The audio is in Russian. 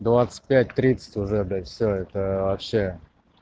двадцать пять тридцать уже блять все это вообще